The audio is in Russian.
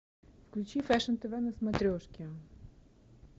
включи фэшн тв на смотрешке